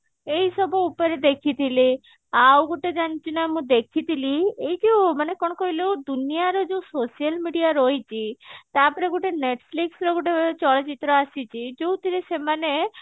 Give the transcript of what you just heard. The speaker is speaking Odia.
ଏଇ ସବୁ ଉପରେ ଦେଖିଥିଲି ଆଉ ଗୋଟେ ଜାଣିଛୁ ନା ମୁଁ ଦେଖିଥିଲି ଏଇ ଯୋଉ ମାନେ କଣ କହିଲୁ ଦୁନିଆ ର ଯୋଉ social media ରହିଛି ତାପରେ ଗୋଟେ netflix ର ଗୋଟେ ଚଳଚିତ୍ର ଆସିଛି ଯୋଉଥିରେ ସେମାନେ